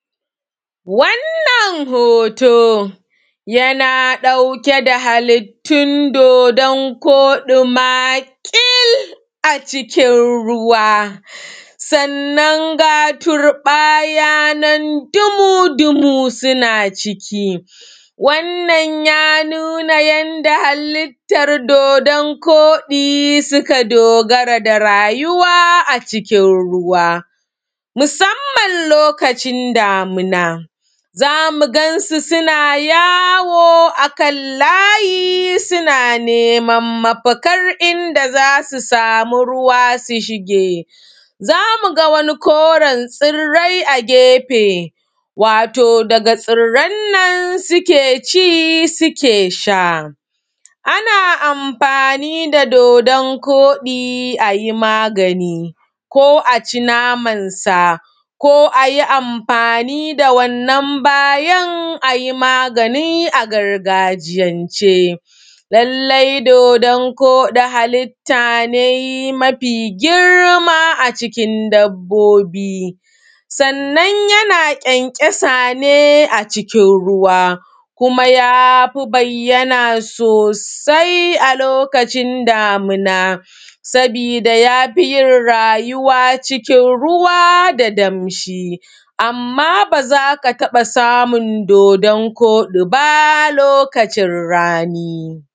Wato wannan hoto yana ɗauke da halittun dodon koɗi maƙil a ciki ruwa sannan ga turɓaya nan dumu-dumu suna ciki. Sannan suna nuna halitta yadda dodon koɗi suka dogara da rayuwaa cikin ruwa musamman lokacin damuna, za mu gansu suna yawo a kan layi suna neman mafakan idan za su samu ruwa su shige za mu ga wani koren tsairrai a gefe, ga tsiran nan suke ci suke sha ana amfani da dodon koɗi a yi magani ko a ci namansa ko amfani da wannan bayan a yi magani a gargajiya ce. Lallai dodon koɗi halitta ce mafi girma a ciki dabbobi sannan yana ƙyanƙyasa ne a cikin a ruwa kuma ya fi bayyana sosai a lokacin damina kuma ya fi yin rayuwa cikin ruwa da damshi amma ba za ka taba samun dodon koɗi ba lokacin rani.